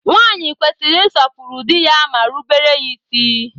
Nwaanyị kwesịrị ịsọpụrụ dị ya ma rubere ya isi